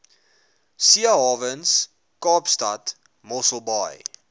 seehawens kaapstad mosselbaai